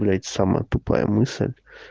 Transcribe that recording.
но это самая тупая мысль